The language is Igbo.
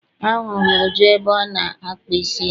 A hụrụ m Uju ebe ọ na-akpa isi ya.